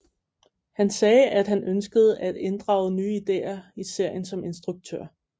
Han sagde at han ønskede at inddrage nye ideer i serien som instruktør